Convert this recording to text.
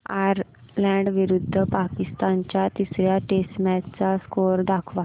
Ireland विरुद्ध पाकिस्तान च्या तिसर्या टेस्ट मॅच चा स्कोअर दाखवा